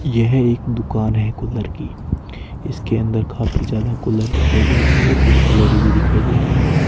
यह एक दुकान है कूलर की इसके अंदर काफी ज्यादा कूलर दिखाई दे रही है कुछ एल_ई_डी भी दिखाई दे रही है।